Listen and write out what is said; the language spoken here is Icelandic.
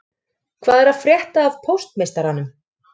Hvað er að frétta af póstmeistaranum